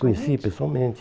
Conheci pessoalmente.